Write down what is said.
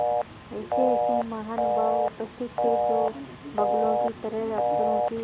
ऐसेऐसे महानुभाव उपस्थित थे जो बगुलों की तरह अफसरों की